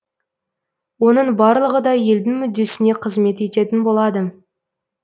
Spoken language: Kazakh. оның барлығы да елдің мүддесіне қызмет ететін болады